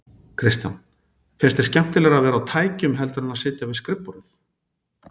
Kristján: Finnst þér skemmtilegra að vera á tækjum heldur en að sitja við skrifborðið?